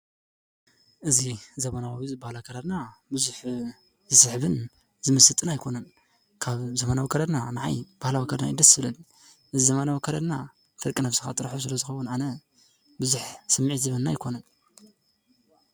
እዚ ዘመናዊ ዘመናዊ ዝበሃል ኣከዳድና ብዙሕ ደስ ዝብልን ዝምስጥን ኣይኮነን፡፡ ካብ ዘመናዊ ኣከዳድና ንዓይ ባህላዊ ኣከዳድና እዩ ደስ ዝብለኒ፡፡ እዚ ዘመናዊ ኣከዳድና ፍርቂ ነብስኻ ጥርሑ ስለዝኸውን ኣነ ብዙሕ ስምዒት ዝህበኒ ኣይኮነን፡፡